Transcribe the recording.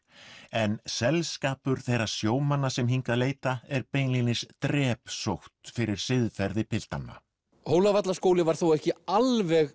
en þeirra sjómanna sem hingað leita er beinlínis drepsótt fyrir siðferði piltanna hólavallaskóli var þó ekki alveg